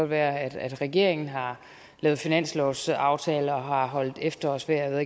være at regeringen har lavet finanslovsaftale og holdt efterårsferie og